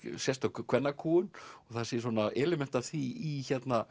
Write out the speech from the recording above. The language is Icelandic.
sérstök kvennakúgun og það sé svona element af því